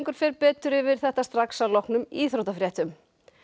fer betur yfir þetta strax að loknum íþróttafréttum